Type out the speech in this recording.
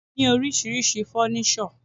A ní oríṣiríṣi fọ́nísọ̀.